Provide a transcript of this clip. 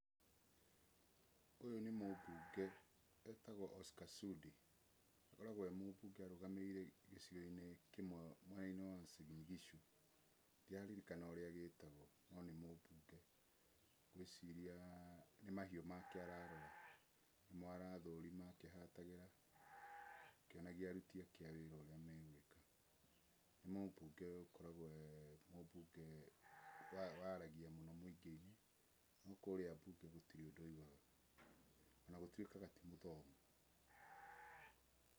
Ũyũ nĩ mũmbũnge etagwo Oscar Sudi, akoragwo e mũmbũnge arũgamĩrĩ-ire gĩcigoi-nĩ kĩmwe mwena wa Uasin Gishu. Ndiraririkana ũrĩa gĩtagwo no nĩ mũmbunge, ngũĩciria nĩmahiu make ararora, nĩmo arathũrima akihatagĩra, akíonagia arũti ake a wĩra ũrĩa megwĩka. Nĩ mũmbũnge ũkoragwo waragia muno mũingĩinĩ no kũrĩa mbũnge gũtĩrĩ ũndũ aũgaga, na gũtũĩkaga ti mũthomu.